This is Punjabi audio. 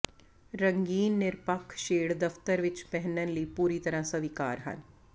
ਰੰਗੀਨ ਨਿਰਪੱਖ ਸ਼ੇਡ ਦਫਤਰ ਵਿੱਚ ਪਹਿਨਣ ਲਈ ਪੂਰੀ ਤਰ੍ਹਾਂ ਸਵੀਕਾਰ ਹਨ